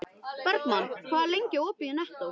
Bergmann, hvað er lengi opið í Nettó?